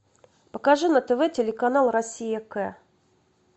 покажи на тв телеканал россия к